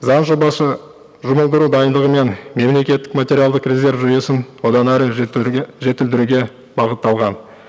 заң жобасы жұмылдыру дайындығы мен мемлекеттік материалдық резерв жүйесін одан әрі жетілдіруге бағытталған